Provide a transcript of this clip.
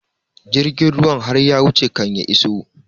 Jirgin ruwan har ya wuce kan ya iso